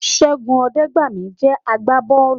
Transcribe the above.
Ṣẹ́gun Ọdẹgbami jẹ́ àgbà bọ́ọ̀lù